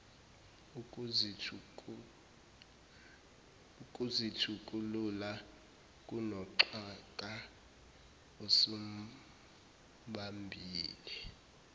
ukuzithukulula kunoxhaka osumbambile